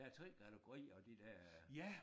Der er 3 kategorier af de der